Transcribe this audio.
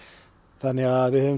þannig að við höfum